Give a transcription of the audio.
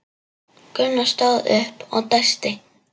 Gunnar stóð upp og dæsti.